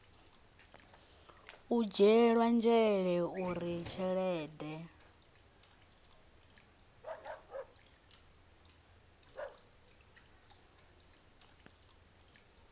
u dzhielwa nzhele uri tshelede